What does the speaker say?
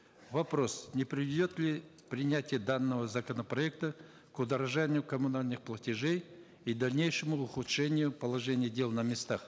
вопрос не приведет ли принятие данного законопроекта к удорожанию коммунальных платежей и дальнейшему ухудшению положения дел на местах